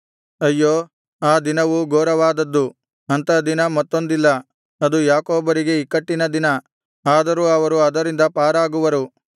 ಅಯ್ಯೋ ಆ ದಿನವು ಘೋರವಾದದ್ದು ಅಂಥ ದಿನ ಮತ್ತೊಂದಿಲ್ಲ ಅದು ಯಾಕೋಬರಿಗೆ ಇಕ್ಕಟ್ಟಿನ ದಿನ ಆದರೂ ಅವರು ಅದರಿಂದ ಪಾರಾಗುವರು